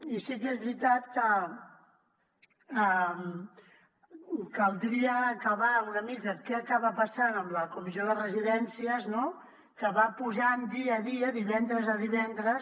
i sí que és veritat que caldria acabar una mica amb què acaba passant amb la comissió de residències que va posant dia a dia divendres a divendres